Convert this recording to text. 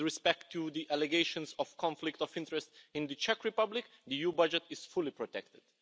With respect to the allegations of conflicts of interests in the Czech Republic, the EU budget is fully protected.